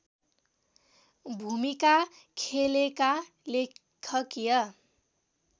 भूमिका खेलेका लेखकीय